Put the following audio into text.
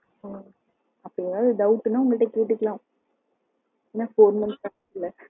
அப்படி ஏதாவது doubt ன்னா உங்ககிட்ட கேட்டுக்கலாம் ஏன்னா four month ஆச்சுல